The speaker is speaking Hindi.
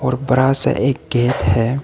बड़ा सा एक गेट है।